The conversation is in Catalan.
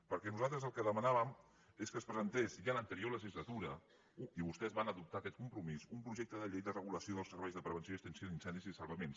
perquè nosaltres el que demanàvem és que es presentés ja a l’anterior legislatura i vostès van adop·tar aquest compromís un projecte de llei de regulació dels serveis de prevenció i extinció d’incendis i de sal·vaments